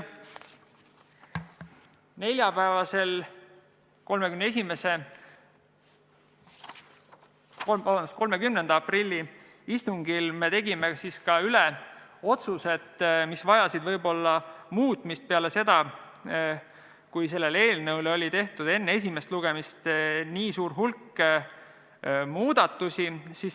Neljapäevasel, 30. aprilli istungil me otsustasime üle ka otsused, mis vajasid muutmist peale seda, kui selle eelnõu kohta oli tehtud enne esimest lugemist nii suur hulk muudatusettepanekuid.